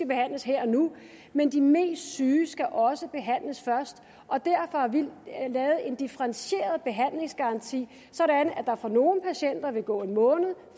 behandles her og nu men de mest syge skal også behandles først og derfor har vi lavet en differentieret behandlingsgaranti sådan at der for nogle patienter vil gå en måned